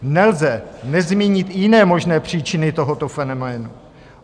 Nelze nezmínit jiné možné příčiny tohoto fenoménu.